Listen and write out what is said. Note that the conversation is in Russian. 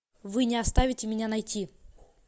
вы не оставите меня найти